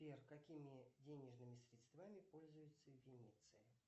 сбер какими денежными средствами пользуются в венеции